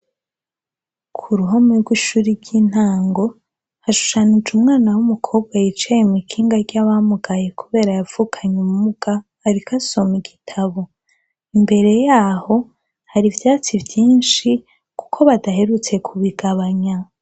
Ku ruhome rw'ishure ry'intango, hashushanyije umwana w'umukobwa yicaye mw'ikinga ry'abamugaye kubera yavukanye ubumuga, ariko asoma igitabo. Imbere y'aho hari ivyatsi vyinshi kuko badaherutse kubigabanya.